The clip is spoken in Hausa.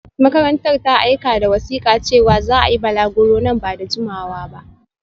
Makarantar ta aika da wasika cewa za a yi balaguro nan ba da jimawa ba